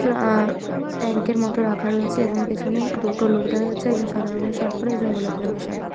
ট্রা-ই tank এর মত রাখা রয়েছে এবং পিছনে দুটো লোক দেখা যাচ্ছে একজন সাদা রঙ এর সার্ট পড়ে আর একজন গোলাপি রঙ এর সার্ট পরে ।